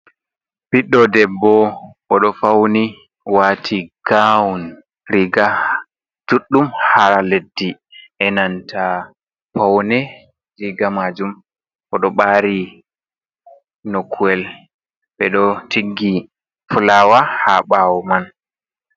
Ɓiɗɗo debbo, oɗo fauni wati gawun riga juɗɗum har leddi. e nanta paune riga majum, oɗo ɓari nokuwel ɓeɗo tiggi fulawa ha bawo man.